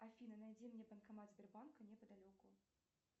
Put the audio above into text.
афина найди мне банкомат сбербанка неподалеку